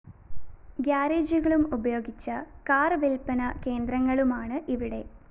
ഗ്യാരേജുകളും ഉപയോഗിച്ച കാർ വില്‍പ്പന കേന്ദ്രങ്ങളുമാണ് ഇവിടെ